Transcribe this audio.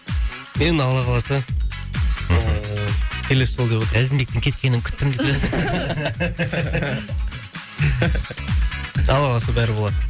енді алла қаласа ыыы келесі жылы деп отырмыз әзімбектің кеткенін күттім алла қаласа бәрі болады